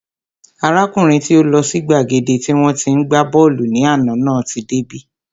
Arákùnrin tí ó lọ sí gbàgede tí wọ́n tí ń gbá bọ́ọ̀lù ní àná náà tí dé bí